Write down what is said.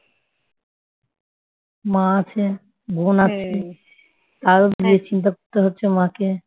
মা আছে বোন আছে তারও বিয়ের চিন্তা করতে হচ্ছে মা কে